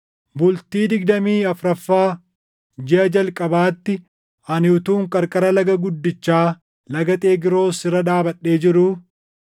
Bultii digdamii afuraffaa jiʼa jalqabaatti ani utuun qarqara laga guddichaa Laga Xegroos irra dhaabadhee jiruu,